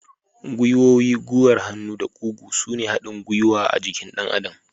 Gwiwoyi, gwiwar hannu da kugu sune haɗin gwiwa a jikin ɗan adam.